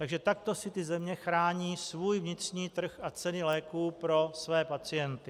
Takže takto si ty země chrání svůj vnitřní trh a ceny léků pro své pacienty.